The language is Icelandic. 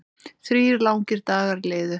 Þrír langir dagar liðu.